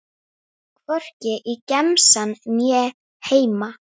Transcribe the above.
Hvorki í gemsann né heima.